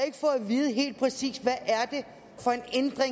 vide helt præcis hvad